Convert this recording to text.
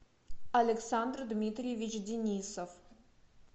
александр дмитриевич денисов